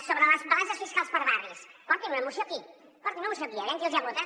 sobre les balances fiscals per barris portin una moció aquí portin una moció aquí aviam qui els hi vota